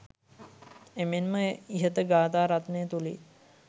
එමෙන්ම ඉහත ගාථා රත්නය තුළින්